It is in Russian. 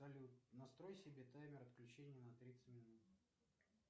салют настрой себе таймер отключения на тридцать минут